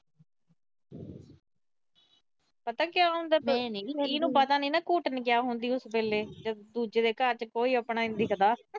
ਪਤਾ ਕਿਆ ਹੁੰਦਾ, ਇਹਨੂੰ ਪਤਾ ਨੀ ਨਾ ਘੁਟਣੀ ਕਿਆ ਹੁੰਦੀ ਉਸ ਵੇਲੇ, ਦੂਜੇ ਦੇ ਘਰ ਕੋਈ ਆਪਣਾ ਨੀ ਦਿਖਦਾ।